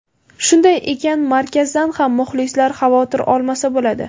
Shunday ekan markazdan ham muxlislar xavotir olmasa bo‘ladi.